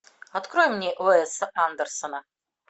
открой мне уэса андерсона